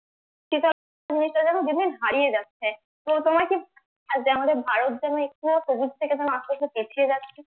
দিনদিন হারিয়ে যাচ্ছে আজ আমরা ভারত যেমন সবুজ থেকে আস্তে আস্তে পিছিয়ে যাচ্ছি